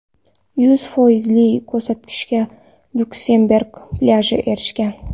Yuz foizli ko‘rsatgichga Lyuksemburg plyaji erishgan.